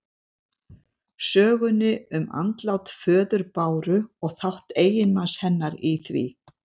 Sögunni um andlát föður Báru og þátt eiginmanns hennar í því.